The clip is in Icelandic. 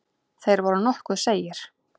Þeir voru nokkuð seigir.